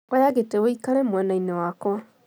Oya gĩtĩ ũikare mwenainĩ wakwa